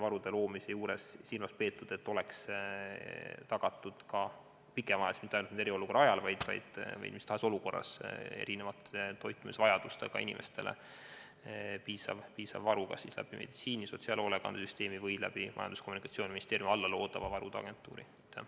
Varude loomisel on tõesti silmas peetud seda, et oleks pikemaajaliselt – mitte ainult eriolukorra ajal, vaid ka mis tahes muus olukorras – tagatud erinevate toitumisvajadustega inimestele piisav varu, kas siis meditsiini- või sotsiaalhoolekandesüsteemi kaudu või Majandus- ja Kommunikatsiooniministeeriumi alla loodava varude agentuuri kaudu.